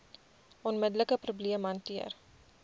onmiddelike probleem hanteer